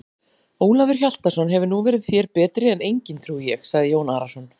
Ólafur Hjaltason hefur nú verið þér betri en enginn trúi ég, sagði Jón Arason.